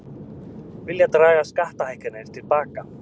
Vilja draga skattahækkanir til baka